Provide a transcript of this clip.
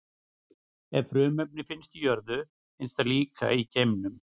Ef frumefni finnst á jörðu, finnst það líka í geimnum.